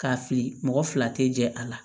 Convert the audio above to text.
K'a fili mɔgɔ fila tɛ jɛ a la